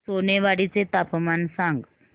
सोनेवाडी चे तापमान सांग